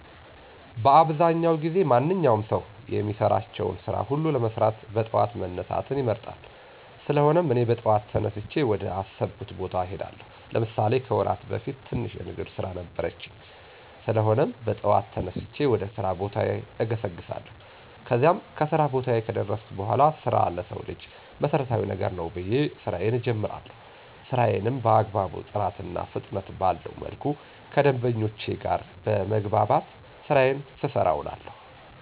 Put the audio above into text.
በአብዛዉ ጊዜ ማንኛዉም ሰዉ የሚሰራቸዉን ስራ ሁሉ ለመስራት በጠዋት መነሳትን ይመርጣል: ስለሆነም, እኔ በጠዋት ተነስቼ ወደ አሰብኩት ቦታ እሄዳለሁ። ለምሳሌ፦ ከወራት በፊት ትንሽ የንግድ ስራ ነበረችኝ? ስለሆነም, በጠዋት ተነስቼ ወደ ስራ ቦታዬ እገሰግሳለሁ። ከዚያም, ከስራ ቦታየ ከደረስኩ በኋላ ስራ ለሰዉ ልጅ መሰረታዊ ነገር ነዉ ብየ ስራየን እጀምራለሁ። ስራየንም በአግባቡ ጥራትና ፍጥነት ባለዉ መልኩ ከደንበኞቼ ጋር በመግባባት ስራየን ስሰራ እዉላለሁ።